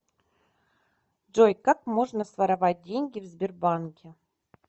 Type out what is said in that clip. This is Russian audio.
джой как можно своровать деньги в сбербанке